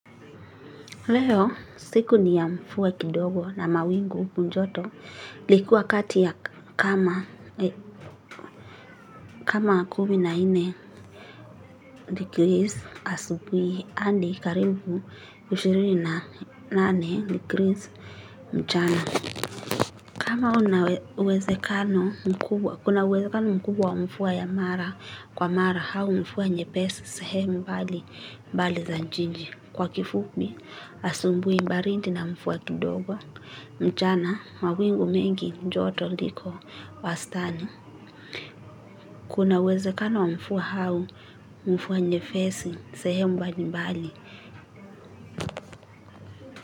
Leo siku ni ya mvua kidogo na mawingu joto ilikuwa kati ya kama kumi na nne degrees asubui hadi karibu ishirini na nane degrees mchana. Kama una uwezekano mkubwa kuna uwezekano mkubwa wa mvua ya mara kwa mara au mvua nyepesi sehemu pahali za nje nje. Kwa kifupi asubui baridi na mvua kidogo. Mchana mawingu mengi joto liko wastani. Kuna uwezekana wa mvua au mvua nyepesi sehemu mbalimbali.